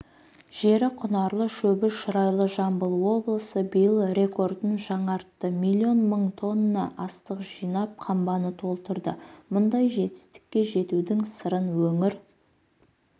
жері құнарлы шөбі шұрайлы жамбыл облысы биыл рекордын жаңартты миллион мың тонна астық жинап қамбаны толтырды мұндай жетістікке жетудің сырын өңір